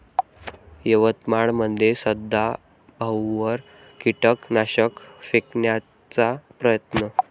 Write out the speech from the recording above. यवतमाळमध्ये सदाभाऊंवर कीटकनाशक फेकण्याचा प्रयत्न